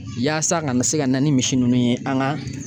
Yaasa ka na se ka na ni misi ninnu ye an ka